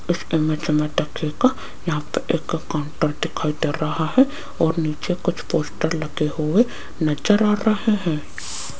इस इमेज में को यहां पर एक काउंटर दिखाई दे रहा है और नीचे कुछ पोस्टर लगे हुए नजर आ रहे हैं।